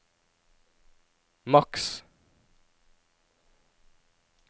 maks